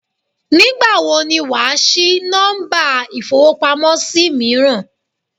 Nígbàwo ni wàá sí Nọ́mbà ìfowópamọ́ sí míràn